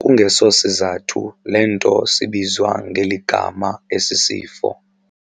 kungeso sizathu le nto sibizwa ngeli gama esi sifo.